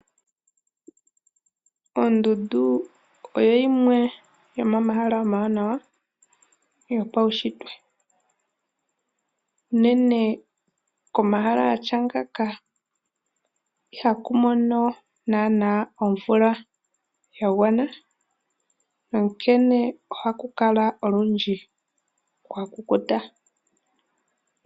Ondundu oyo yimwe yomomahala omawanawa yopaushitwe. Uunene komahala gatya ngaaka ihaku mono nana omvula yagwana onkene ohaku kala olundji kwa kukuta.